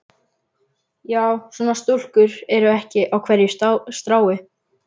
Já, svona stúlkur eru ekki á hverju strái.